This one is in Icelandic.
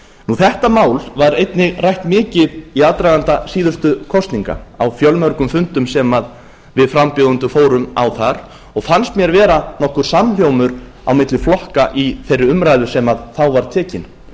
þetta mál var einnig rætt mikið í aðdraganda síðustu kosninga á fjölmörgum fundum sem við frambjóðendur fórum á þar og fannst mér vera þó nokkur samhljómur á milli flokka í þeirri umræðu sem þá var tekin